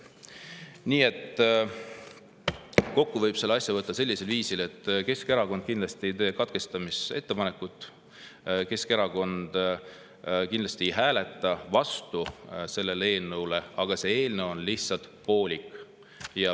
Nii et kokku võib selle asja võtta sellisel viisil: Keskerakond kindlasti ei tee ettepanekut katkestada ja Keskerakond kindlasti ei hääleta eelnõule vastu, aga see eelnõu on lihtsalt poolik.